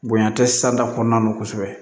Bonya tɛ kɔnɔna na kosɛbɛ